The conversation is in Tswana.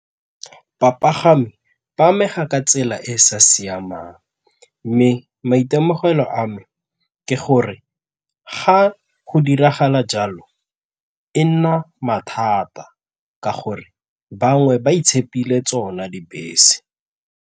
Bapagami ba amega ka tsela e e sa siamang mme maitemogelo a me ke gore ga go diragala jalo e nna mathata ka gore bangwe ba itshepile tsona dibese.